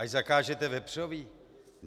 Až zakážete vepřové?